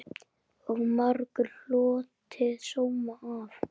Og margur hlotið sóma af.